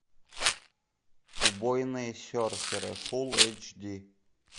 убойные серферы фулл эйч ди